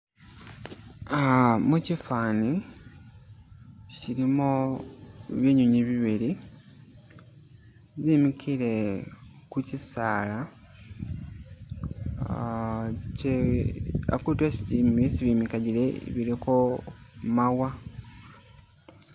Ah mukifani chilimo binyinywi bibili, bimikile ku kisaala ah kye akutu esi bimi bimakagile biliko mawa.